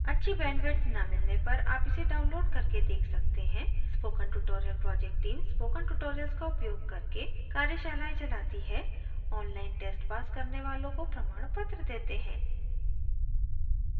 अच्छी bandwidth न मिलने पर आप इसे download करके देख सकते हैं spoken tutorial project team spoken tutorials का उपयोग करके कार्यशालाएं चलाती है online test pass करने वालों को प्रमाणपत्र देते हैं